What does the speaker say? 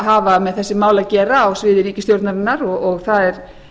hafa með þessi mál að gera á sviði ríkisstjórnarinnar og það er